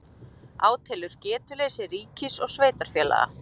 Átelur getuleysi ríkis og sveitarfélaga